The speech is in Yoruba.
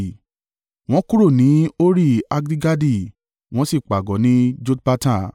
Wọ́n kúrò ní Hori-Haggidgadi wọ́n sí pàgọ́ ní Jotbata.